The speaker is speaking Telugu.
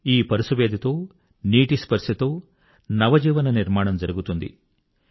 ఈ పరుసవేదితో నీటి స్పర్శతో నవజీవన నిర్మాణం జరుగుతుంది